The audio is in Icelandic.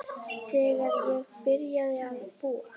Þegar ég byrjaði að búa.